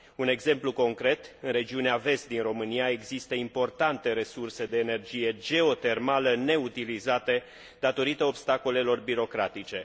Un exemplu concret în regiunea de vest a României există importante resurse de energie geotermală, neutilizate datorită obstacolelor birocratice.